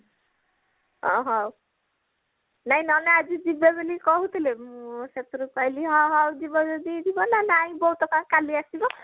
ଅହହୋ ନାଇଁ ନନା ଆଜି ଯିବେ ବୋଲି କହୁଥିଲେ ଆଣ ମୁଁ ସେଥିରୁ କହିଲି ଅ ହଉ ଯିବେ ଯଦି ଯିବ ନା ନାଇଁ ବୋଉ ତ କାଲି ଆସିବେ